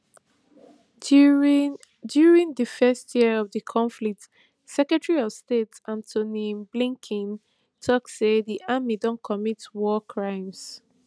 during during di first year of di conflict secretary of state antony blinken tok say di army don commit war crimes